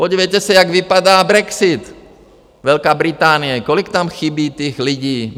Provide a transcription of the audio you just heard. Podívejte se, jak vypadá brexit, Velká Británie, kolik tam chybí těch lidí?